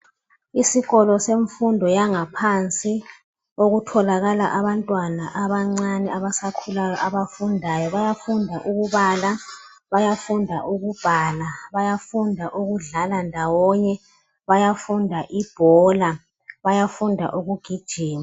Isikolo semfundo yangaphansi okutholakala abantwana abancane abasakhulayo abafundayo. Bayafunda ukubala, bayafunda ukubhala, bayafunda ukudlala ndawonye, bayafunda ibhola, bayafunda ukugijima.